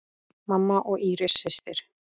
Mamma og Íris systir.